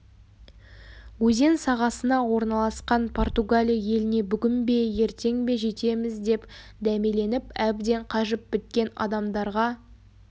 өзен сағасына орналасқан португалия еліне бүгін бе ертең бе жетеміз деп дәмеленіп әбден қажып біткен адамдарға